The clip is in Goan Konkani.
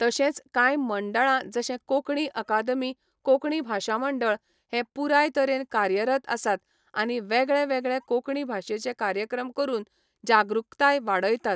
तशेंच कांय मंडळां जशें कोंकणी अकादमी कोंकणी भाशा मंडळ हे पुराय तरेन कार्यरत आसात आनी वेगळें वेगळें कोंकणी भाशेचे कार्यक्रम करून जागृकताय वाडयतात